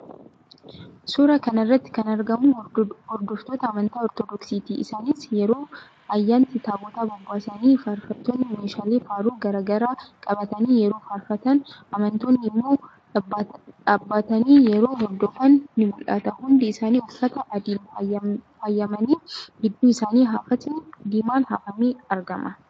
Suuraa kana irratti kan argamu hordoftoota amantaa Ortodoksiiti. Isaanis yeroo ayyaanaatti Taabota bobbaasanii, faarfattoonni meeshaalee faaruu garaa garaa qabatanii yeroo faarfatan, amantoonni immoo dhaabbatani yeroo hordofan ni mul'ata. Hundi isaanii uffata adiin faayamanii, gidduu isaanii hafatni diimaan hafamee argama.